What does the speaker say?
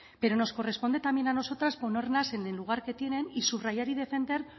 pero nos corresponde también a nosotras ponerlas en el lugar que tienen y subrayar y defender